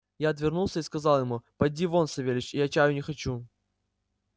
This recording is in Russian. я отвернулся и сказал ему поди вон савельич я чаю не хочу